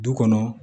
Du kɔnɔ